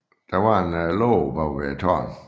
Der var en låge bag på tårnet